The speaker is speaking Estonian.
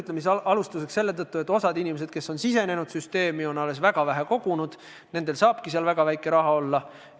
Alustuseks on see nii selle tõttu, et osa inimesi, kes on süsteemi sisenenud, on jõudnud väga vähe koguda, nendel saabki seal väga vähe raha olla.